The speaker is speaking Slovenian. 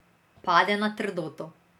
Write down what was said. Pade na trdoto.